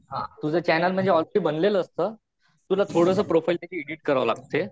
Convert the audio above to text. तुझं चॅनल म्हणजे ऑलरेडी बनलेलं असत तुला थोडं प्रोफाईल त्याची एडिट करावी लागते.